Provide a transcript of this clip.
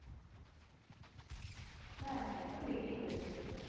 হ্যাঁ, সে তো লেগেই রয়েছে।